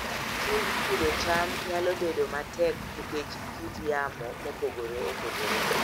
Tij pidho cham nyalo bedo matek nikech kit yamo mopogore opogore.